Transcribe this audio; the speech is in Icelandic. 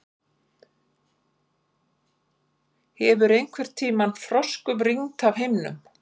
Hefur einhverntíma froskum rignt af himninum?